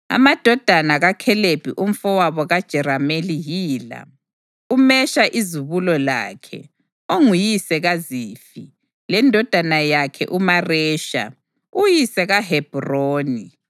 Amadodana kaKhalebi umfowabo kaJerameli yila: uMesha izibulo lakhe, onguyise kaZifi, lendodana yakhe uMaresha, uyise kaHebhroni.